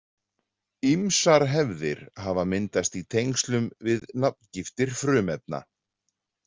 Ýmsar hefðir hafa myndast í tengslum við nafngiftir frumefna.